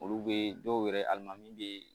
Olu be dɔw yɛrɛ aliman bee